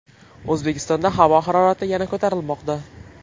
O‘zbekistonda havo harorati yana ko‘tarilmoqda.